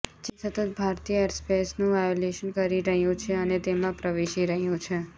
ચીન સતત ભારતીય એરસ્પેસનું વાયોલેશન કરી રહ્યું છે અને તેમાં પ્રવેશી રહ્યું છે